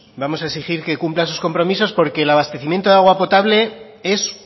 vamos a exigir que cumpla sus compromisos porque el abastecimiento de agua potable es